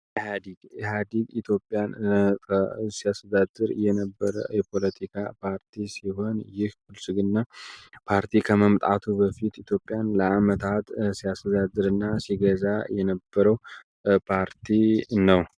ኢሀዲግ ኢሀዲግ ኢዮጵያን ሲያስተዳድር የነበረ የፖለቲካ ፓርቲ ሲሆን ይህ ብልፅግና ፓርቲ ከመምጣቱ በፊት ኢትዮጵያን ለአመታት ሲያስተዳድር እና ሲገዛ የነበረው ፓርቲ ነው።